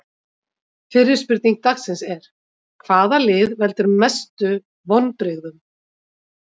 Fyrri spurning dagsins er: Hvaða lið veldur mestu vonbrigðum?